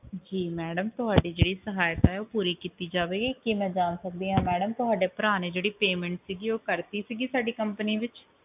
ਜੀ ਮੈਡਮ ਤੁਹਾਡੀ ਜਿਹੜੀ ਸਹਾਇਤਾ ਹੈ ਉਹ ਪੂਰੀ ਕੀਤੀ ਜਾਵੇਗੀ ਕੀ ਮੈਂ ਜਾਂ ਸਕਦੀ ਆ ਮੈਡਮ ਤੁਹਾਡੇ ਭਰਾ ਨੇ ਜਿਹੜੀ payment ਸੀਗੀ ਉਹ ਕਰਤੀ ਸੀਗੀ ਸਾਡੀ company ਵਿਚ